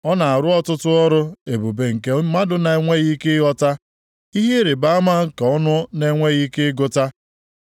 Ọ na-arụ ọtụtụ ọrụ ebube nke mmadụ na-enweghị ike ịghọta, ihe ịrịbama nke ọnụ na-enweghị ike ịgụta.